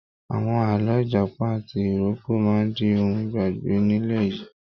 Àwọn àlọ́ Ìjàpá ati ìrókò máa di ohun ìgbàgbé nílẹ̀ yìí.